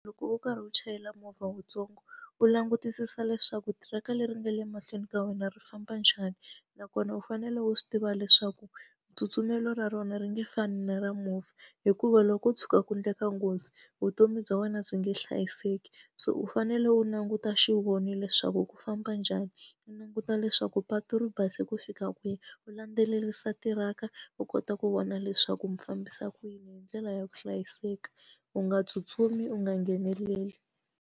Loko u karhi u chayela movha wuntsongo u langutisisa leswaku tiraka leri nga le mahlweni ka wena ri famba njhani, nakona u fanele u swi tiva leswaku tsutsumelo ra rona ri nge fani na ra movha. Hikuva loko ko tshuka ku endleka nghozi vutomi bya wena byi nge hlayiseki, so u fanele u languta xivoni leswaku ku famba njhani. U languta leswaku patu ri base ku fika kwihi, u landzelerisa tiraka u kota ku vona leswaku mi fambisa ku yini, hi ndlela ya ku hlayiseka. U nga tsutsumi, u nga ngheneleli.